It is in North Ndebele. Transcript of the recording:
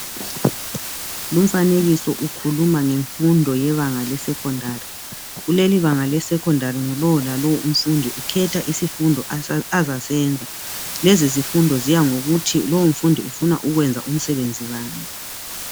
Lumfanekiso ukhuluma ngemfundo yebanga le secondary. Lelelibanga le secondary ngulowo lalowo umfundi ukhetha isifundo azasenza. Lezizifundo ziyangokuthi lowomfundi ufuna ukwenza umsebenzi bani.